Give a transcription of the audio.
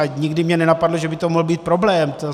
A nikdy mě nenapadlo, že by to mohl být problém.